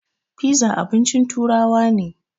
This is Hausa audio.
Fiza abincin turawa ne